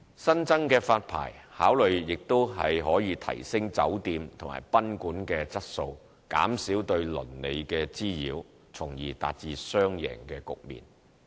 新增的發牌考慮亦可以提升酒店及賓館的質素，減少對鄰里的滋擾，從而達至雙贏局面。